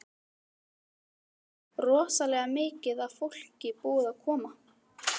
Þórhildur: Rosalega mikið af fólki búið að koma?